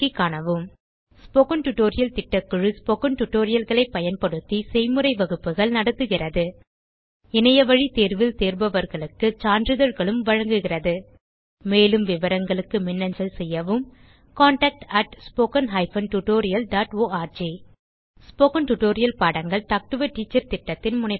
spoken tutorial திட்டக்குழு spoken tutorial களை பயன்படுத்தி செய்முறை வகுப்புகள் நடத்துகிறது இணையவழி தேர்வில் தேர்பவர்களுக்கு சான்றிதழ்களும் வழங்குகிறது மேலும் விவரங்களுக்கு மின்னஞ்சல் செய்யவும் contactspoken tutorialorg ஸ்போகன் டுடோரியல் பாடங்கள் டாக் டு எ டீச்சர் திட்டத்தின் முனைப்பாகும்